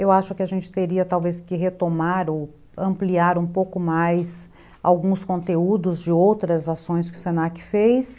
Eu acho que a gente teria talvez que retomar ou ampliar um pouco mais alguns conteúdos de outras ações que o se na que fez.